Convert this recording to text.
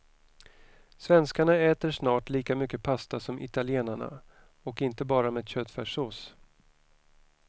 Svenskarna äter snart lika mycket pasta som italienarna och inte bara med köttfärssås.